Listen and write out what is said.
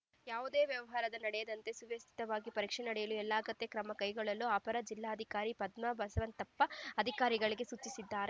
ಯಾವುದೇ ವ್ಯವಹಾರ ನಡೆಯದಂತೆ ಸುವ್ಯವಸ್ಥಿತವಾಗಿ ಪರೀಕ್ಷೆ ನಡೆಸಲು ಎಲ್ಲಾ ಅಗತ್ಯ ಕ್ರಮ ಕೈಗೊಳ್ಳಲು ಅಪರ ಜಿಲ್ಲಾಧಿಕಾರಿ ಪದ್ಮಾ ಬಸವಂತಪ್ಪ ಅಧಿಕಾರಿಗಳಿಗೆ ಸೂಚಿಸಿದರು